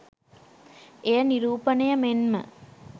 එය නිරූපණය මෙන්ම